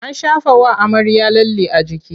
An shafawa amarya lalle a jiki.